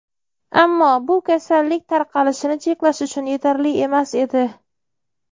ammo bu kasallik tarqalishini cheklash uchun yetarli emas edi.